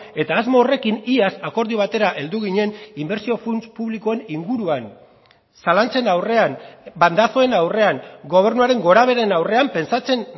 eta asmo horrekin iaz akordio batera heldu ginen inbertsio funts publikoen inguruan zalantzen aurrean bandazoen aurrean gobernuaren gorabeheren aurrean pentsatzen